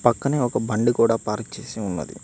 పక్కనే ఒక బండి కూడా పార్క్ చేసి ఉన్నది.